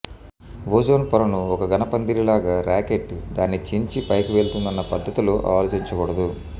ozone పొరను ఒక ఘనపందిరిలాగా రాకెట్టు దాన్ని చించి పైకి వెళ్తుందన్న పద్ధతిలో ఆలోచించకూడదు